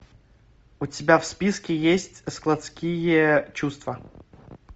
у тебя в списке есть складские чувства